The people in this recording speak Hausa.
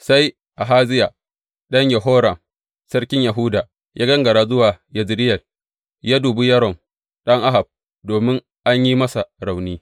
Sai Ahaziya ɗan Yehoram, sarkin Yahuda ya gangara zuwa Yezireyel yă dubi Yoram ɗan Ahab domin an yi masa rauni.